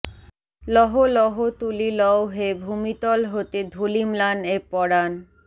লহো লহো তুলি লও হে ভূমিতল হতে ধূলিম্লান এ পরান